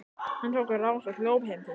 Hann tók á rás og hljóp heim til sín.